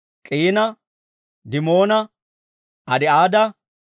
K'iina, Dimoona, Adi'aada,